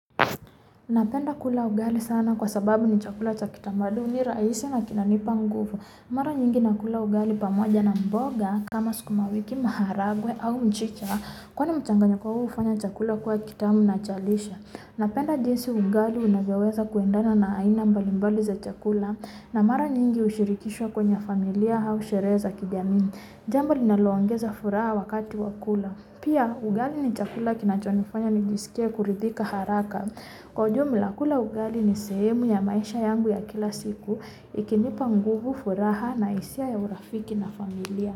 Napenda kula ugali sana kwa sababu ni chakula cha kitamaduni rahisi na kinanipa nguvu Mara nyingi nakula ugali pamoja na mboga kama sukuma wiki maharagwe au mchicha kwani mchanganyiko huu hufanya chakula kuwe kitamu na cha lishe napenda jinsi ugali unavyoweza kuendana na aina mbalimbali za chakula na mara nyingi hushirikishwa kwenye familia au sherehe za kijamii Jambo linalo ongeza furaha wakati wa kula Pia ugali ni chakula kinachonifanya nijisikie kuridhika haraka Kwa ujumla kula ugali ni sehemu ya maisha yangu ya kila siku Ikinipa nguvu furaha na hisia ya urafiki na familia.